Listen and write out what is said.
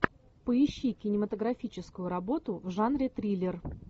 поищи кинематографическую работу в жанре триллер